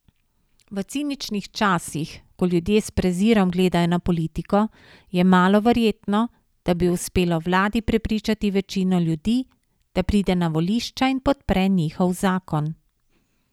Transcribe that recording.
V ciničnih časih, ko ljudje s prezirom gledajo na politiko, je malo verjetno, da bi uspelo vladi prepričati večino ljudi, da pride na volišča in podpre njihov zakon.